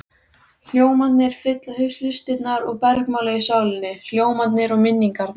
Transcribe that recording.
Hljómarnir fylla hlustirnar og bergmála í sálinni, hljómarnir og minningarnar.